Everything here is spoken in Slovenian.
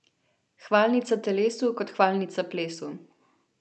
Hvalnica telesu kot hvalnica plesu.